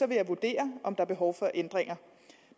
vil jeg vurdere om der er behov for ændringer